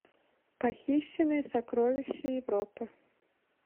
похищенные сокровища европы